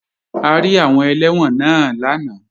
A rí àwọn ẹlẹ́wọ̀n náà lánàá